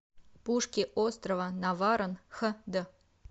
пушки острова наварон хд